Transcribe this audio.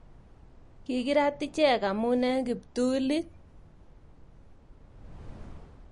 Kigirat ichek amun eng kiptulit